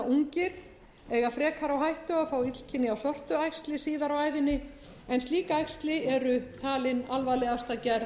ungir eiga frekar á hættu að fá illkynja sortuæxli síðar á ævinni en slík æxli eru talin alvarlegasta gerð